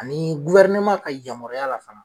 Ani ka yamaruya la fana.